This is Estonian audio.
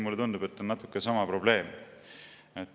Mulle tundub, et siin on natuke sama probleem.